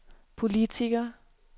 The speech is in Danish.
politiker